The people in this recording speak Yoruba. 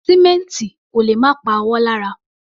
Sìmẹ́ǹtì ò lè má pa ọwọ́ lára.